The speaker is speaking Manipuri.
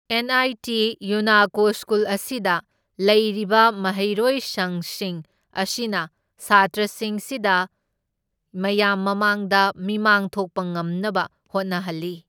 ꯑꯦꯟ ꯑꯥꯏ ꯇꯤ ꯌꯨꯅꯥꯀꯣ ꯁ꯭ꯀꯨꯜ ꯑꯁꯤꯗ ꯂꯩꯔꯤꯕ ꯃꯍꯩꯔꯣꯏꯁꯪꯁꯤꯡ ꯑꯁꯤꯅ ꯁꯥꯇ꯭ꯔꯁꯤꯡꯁꯤꯗ ꯃꯌꯥꯝ ꯃꯃꯥꯡꯗ ꯃꯤꯃꯥꯡ ꯊꯣꯛꯄ ꯉꯝꯅꯕ ꯍꯣꯠꯅꯍꯜꯂꯤ꯫